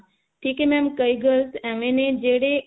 ਠੀਕ ਹੈ mam ਕਈ girls ਏਵੇਂ ਨੇ ਜਿਹੜੇ